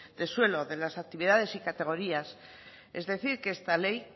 de suelo de las actividades y categorías es decir que esta ley